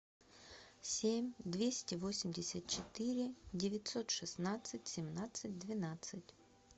семь двести восемьдесят четыре девятьсот шестнадцать семнадцать двенадцать